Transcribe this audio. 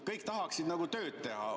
Kõik tahaksid tööd teha.